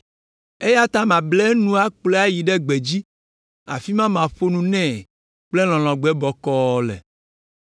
“Eya ta mable enu akplɔe ayi ɖe gbedzi, afi ma maƒo nu nɛ kple lɔlɔ̃gbe bɔkɔɔ le.